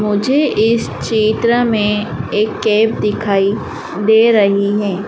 मुझे इस चित्र मे एक कैप दिखाई दे रही है।